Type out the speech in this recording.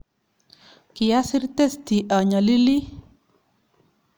kiasir testi anyalilii